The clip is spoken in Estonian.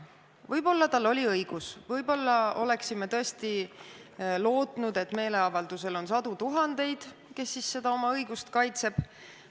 Võib-olla tal oli õigus, võib-olla oleksime tõesti lootnud, et meeleavaldusel on sadu tuhandeid, kes oma õigust kaitsevad.